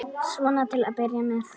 Svona til að byrja með.